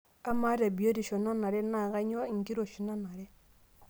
Amaa tebiotisho nanare naa kainyoo enkiroshi naanare?